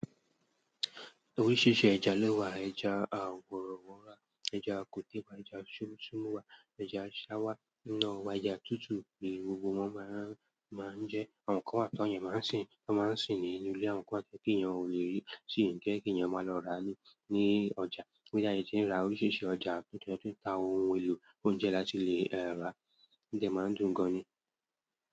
Oríṣiríṣi ẹja lẹ wà, ẹja àwọ̀rọ̀wọ̀ra, ẹja kọtíwà, ẹja súmusúmu wà, ẹja ṣáwá, iná wà, ẹja tútù, èyí gbogbo wọn máa ń jẹ́ àwọn nǹkan wà tọ̀nyẹ̀ẹ́ máa ń sìn. Wọ́n máa ń sìn nínú ilé, àwọn nǹkan kẹ́kẹ́ yẹn ò lè rí, sì ń kẹ́ kínyẹn máa lọ ra ní, ní ọjà. Bí tí a yẹ ti ń ra oríṣiríṣi ọjà, kí wọ́n tó ta ohun èlò oúnjẹ láti lè rà, díẹ̀ máa ń dùn gan ni.